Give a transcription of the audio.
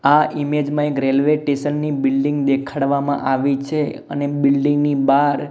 આ ઇમેજ મા એક રેલ્વે ટેસન ની બિલ્ડિંગ દેખાડવામાં આવી છે અને બિલ્ડિંગ ની બાર--